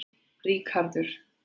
Ríkharður